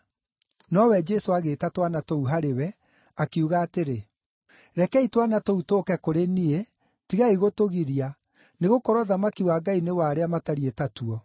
Nowe Jesũ agĩĩta twana tũu harĩ we, akiuga atĩrĩ, “Rekei twana tũu tũũke kũrĩ niĩ, tigai gũtũgiria, nĩgũkorwo ũthamaki wa Ngai nĩ wa arĩa matariĩ ta tuo.